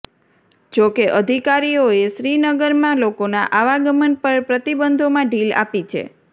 જો કે અધિકારીઓએ શ્રીનગરમાં લોકોના આવાગમન પર પ્રતિબંધોમાં ઢીલ આપી છે